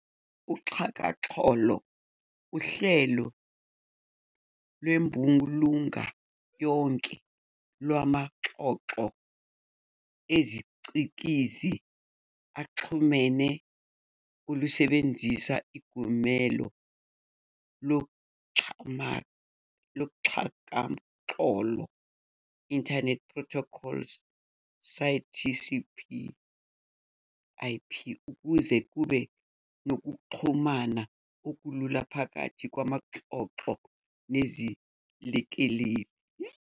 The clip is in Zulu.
uXhakaxholo uhlelo lwembulunga yonke lwamaxhoxho ezicikizi axhumene olusebenzisa iGumelo loxhakaxholo, "Internet protocol suite, TCP-IP" ukuze kube nokuxhumana okulula phakathi kwamaxhoxho nezilekeleli.